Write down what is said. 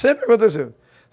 Sempre aconteceu.